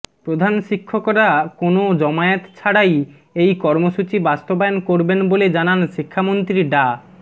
প্রধান শিক্ষকরা কোনো জমায়েত ছাড়াই এই কর্মসূচি বাস্তবায়ন করবেন বলে জানান শিক্ষামন্ত্রী ডা